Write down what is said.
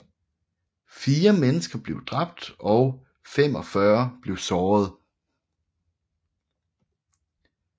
Fire mennesker blev dræbt og 45 blev såret